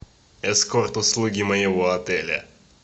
эскорт услуги моего отеля